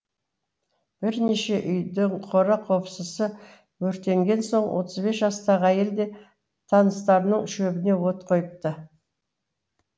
бірнеше үйдің қора қопсысы өртенген соң отыз бес жастағы әйел де таныстарының шөбіне от қойыпты